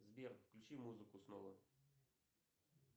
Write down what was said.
сбер включи музыку снова